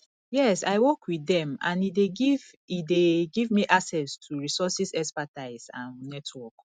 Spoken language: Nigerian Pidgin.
yes i work with dem and e dey give e dey give me access to resources expertise and network